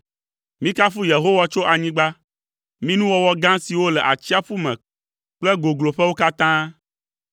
Mikafu Yehowa tso anyigba, mi nuwɔwɔ gã siwo le atsiaƒu me kple gogloƒewo katã.